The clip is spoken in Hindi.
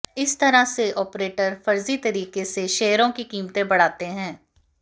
इस तरह से ऑपरेटर फर्जी तरीके से शेयरों की कीमतें बढ़ाते हैं